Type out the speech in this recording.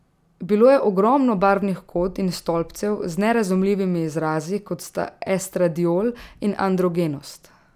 Bilo je ogromno barvnih kod in stolpcev z nerazumljivimi izrazi, kot sta estradiol in androgenost.